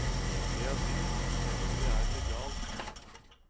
Det er dyrt, selv om det er legalt.